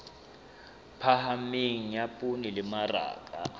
phahameng ya poone le mmaraka